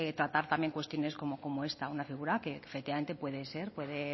para tratar cuestiones como esta una figura que efectivamente puede ser puede